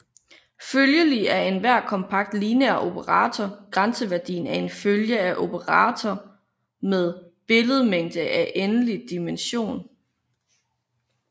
Følgelig er enhver kompakt lineær operator grænseværdien af en følge af operatorer med billedmængde af endelig dimension